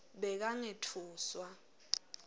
bekangetfuswa